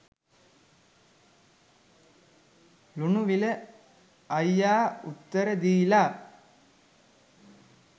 ලුණුවිල අයියා උත්තර දීලා.